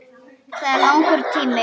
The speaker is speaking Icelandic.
Það er langur tími.